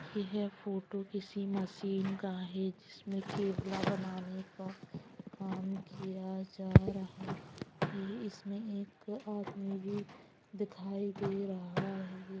ये है फोटो किसी मशीन का है जिसमें बनाने का काम किया जा रहा है इसमें एक आदमी भी दिखाई दे रहा है।